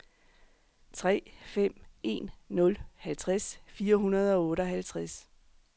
tre fem en nul halvtreds fire hundrede og otteoghalvtreds